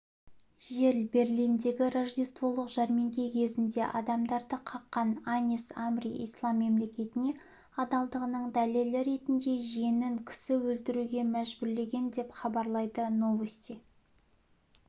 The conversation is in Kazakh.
жел берлиндегі рождестволық жәрмеңке кезінде адамдарды қаққан анис амри ислам мемлекетіне адалдығының дәлелі ретінде жиенін кісі өлтіруге мәжбүрлеген деп хабарлайды новости